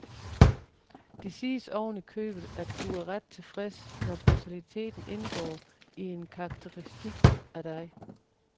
Det siges oven i købet, at du er ret tilfreds, når brutaliteten indgår i en karakteristik af dig.